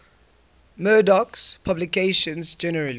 murdoch's publications generally